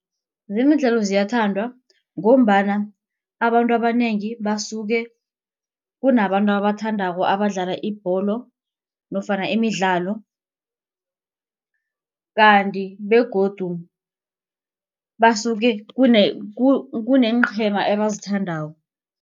Zemidlalo ziyathandwa ngombana abantu abanengi basuke kunabantu ababathandako abadlala ibholo nofana imidlalo. Kanti begodu basuke kuneenqhema ebazithandako.